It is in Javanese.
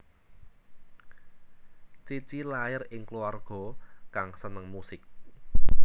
Cici lair ing kluwarga kang seneng musik